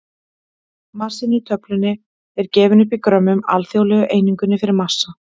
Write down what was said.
Massinn í töflunni er gefinn upp í grömmum, alþjóðlegu einingunni fyrir massa.